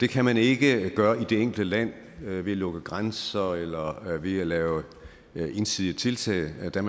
kan man ikke gøre i det enkelte land ved at lukke grænser eller ved at lave ensidige tiltag der